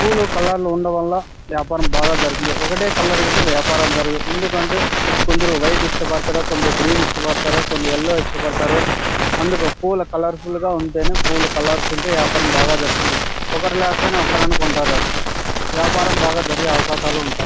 పూలు కలర్ లు ఉండటం వల్ల వ్యాపారం బాగా జరుగుతుంది. ఒకటే కలర్ వాళ్ళ వ్యాపారం జరగదు. ఎందుకంటే కొందరు వైట్ ఇష్టపడతారు . కొందరు గ్రీన్ ఇష్టపడతారు కొందరు యెల్లో ఇష్టపడతారు . అందుకు పూలు కలర్ ఫుల్ గ ఉంటేనే పూలు కలర్ లు ఉంటేనే వ్యాపారం బాగా జరుగుతుంది. ఒకరు కాకపోయినా ఒకరైన కొంటారు. వ్యాపారం బాగా జరిగే అవకాశాలు ఉంటాయి.